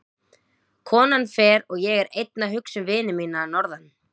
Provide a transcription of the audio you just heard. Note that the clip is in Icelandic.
Konan fer og ég er einn að hugsa um vini mína að norðan.